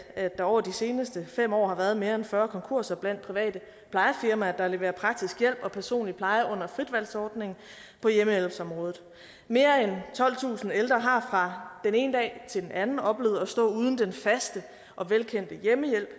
der over de seneste fem år har været mere end fyrre konkurser blandt private plejefirmaer der leverer praktisk hjælp og personlig pleje under fritvalgsordningen på hjemmehjælpsområdet mere end tolvtusind ældre har fra den ene dag til den anden oplevet at stå uden den faste og velkendte hjemmehjælp